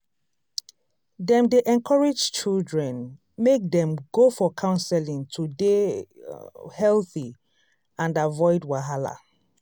dem dey encourage children make dem go for counseling to dey healthy and avoid wahala.